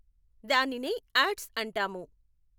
దానినేే odds అంటాము.